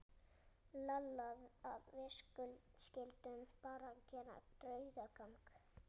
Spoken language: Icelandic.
Lalla að við skyldum bara gera draugagang.